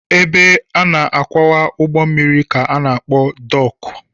Ebe a na-akwụwa ụgbọ mmiri ka a na-akpọ dọọkụ